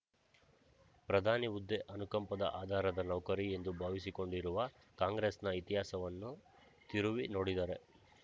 ಪ್ರಧಾನಿ ಹುದ್ದೆ ಅನುಕಂಪದ ಆಧಾರದ ನೌಕರಿ ಎಂದು ಭಾವಿಸಿಕೊಂಡಿರುವ ಕಾಂಗ್ರೆಸ್‍ನ ಇತಿಹಾಸವನ್ನು ತಿರುವಿ ನೋಡಿದರೇ